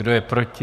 Kdo je proti?